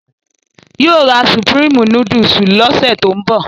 Yóò ra Supreme núdúsì lọ́sẹ̀ tó ń bọ̀